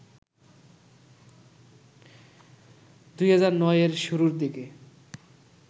২০০৯ এর শুরুর দিকে